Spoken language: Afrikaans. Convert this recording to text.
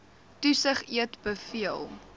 toesig eet beveel